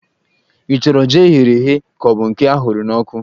Ị chọrọ jí eghere eghe ka ọ bụ nke a hụrụ n'ọkụ?